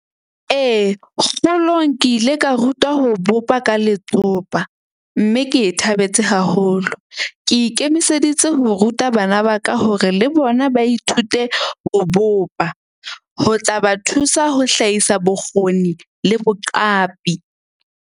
Ee, kgolong ke ile ka rutwa ho bopa ka letsopa. Mme ke thabetse haholo. Ke ikemiseditse ho ruta bana ba ka hore le bona ba ithute ho bopa, ho tla ba thusa ho hlahisa bokgoni le boqapi.